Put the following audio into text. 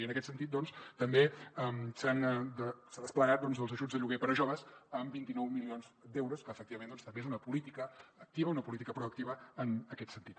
i en aquest sentit doncs també s’han desplegat els ajuts de lloguer per a joves amb vint nou milions d’euros que efectivament també és una política activa una política proactiva en aquest sentit